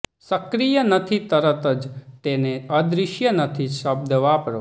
સક્રિય નથી તરત જ તેને અદૃશ્ય નથી શબ્દ વાપરો